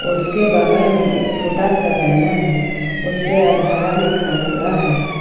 उसके बगल में एक छोटा सा बैनर है उसपे आधार लिखा हुआ है।